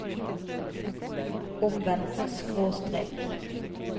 omvendt skråstrek